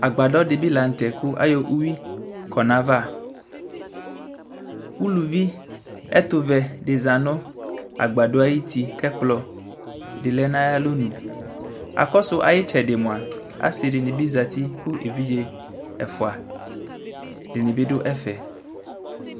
Agbadɔ de be lantɛ kayɔ uwi kɔ navaUluvi ɛtovɛ de za no agbadɔe ayiti kɛ ɛkplɔ de lɛ no ayalɔ nu Akɔsu aye tsɛde moa ase de ne be zati ko evidze ɛfua de ne be do ɛfɛ